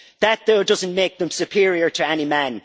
That does not make them superior to any man.